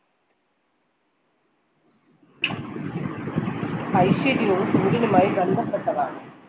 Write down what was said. ഐശ്വര്യവും സൂര്യനുമായി ബന്ധപ്പെട്ടതാണ്